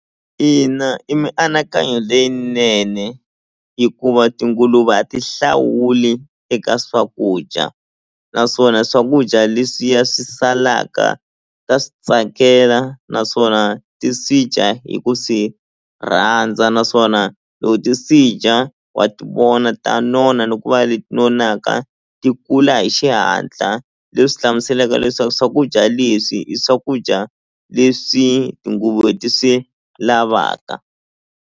Ina i mianakanyo leyinene hikuva tinguluve a ti hlawuli eka swakudya naswona swakudya leswiya swi salaka ta swi tsakela naswona ti swi dya hi ku swi rhandza naswona loko ti swi dya wa ti vona ta nona ni ku va leti nonaka ti kula hi xihatla leswi hlamuselaka leswaku swakudya leswi i swakudya leswi tinguluve ti swi lavaka.